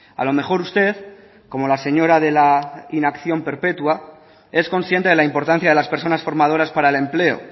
a lo mejor usted como la señora de la inacción perpetua es consciente de la importancia de las personas formadoras para el empleo